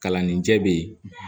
Kalanden jɛ bɛ ye